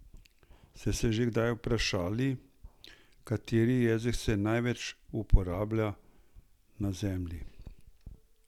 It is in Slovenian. Ste se že kdaj vprašali, kateri jezik se največ uporablja na Zemlji?